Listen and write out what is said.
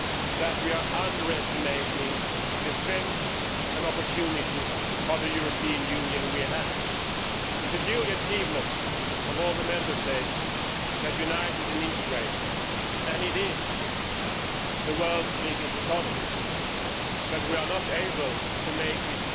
that we are underestimating the strengths and opportunities of the European Union we have. It is the genuine achievement of all the Member States that united and integrated and it is the world's biggest economy, but we are not able to make it